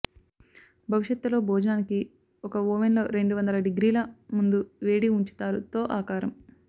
భవిష్యత్తులో భోజనానికి ఒక ఓవెన్లో రెండు వందల డిగ్రీల ముందు వేడి ఉంచారు తో ఆకారం